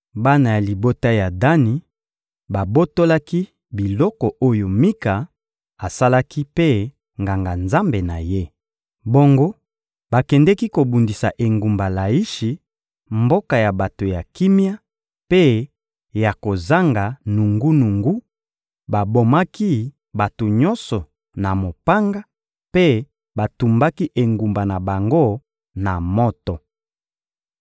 Bana ya libota ya Dani babotolaki biloko oyo Mika asalaki mpe nganga-nzambe na ye. Bongo bakendeki kobundisa engumba Laishi, mboka ya bato ya kimia mpe ya kozanga nungunungu; babomaki bato nyonso na mopanga mpe batumbaki engumba na bango na moto.